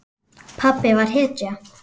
Pabbi var hetja.